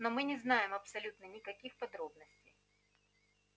но мы не знаем абсолютно никаких подробностей